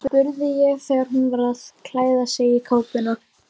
spurði ég þegar hún var að klæða sig í kápuna.